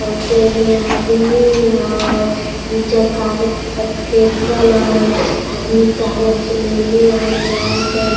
ओ तोय में आदमी होय दो चक्का के फेकल होय आदमी कागज लेले होय जाय छे।